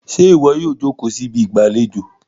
ṣe iwọ yíò joko sí Ibi ìgbàlejò?